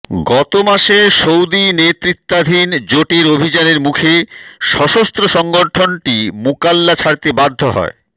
গত মাসে সৌদি নেতৃত্বাধীন জোটের অভিযানের মুখে সশস্ত্র সংগঠনটি মুকাল্লা ছাড়তে বাধ্য হয়